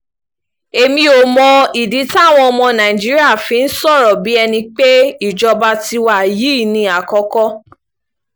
èmi ò mọ ìdí táwọn ọmọ nàìjíríà fi ń sọ̀rọ̀ bíi ẹni pé ìjọba tiwa yìí ni àkókò